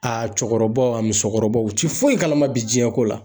A cɛkɔrɔbaw ,a musokɔrɔbaw, u tɛ foyi kalama bi diɲɛko la.